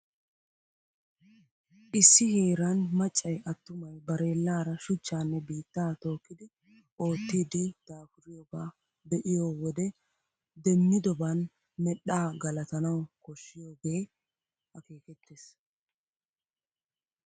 Issi heeran maccay attumay bareellaara shuchchaanne biittaa tookkidi oottiiddi de'oosona. Asay hachchi kawuaa miidi aqanawu daafuriyoogaa be'iyoo wode demmidoban medhdhaa galatanawu koshshiyogee akeekettiis.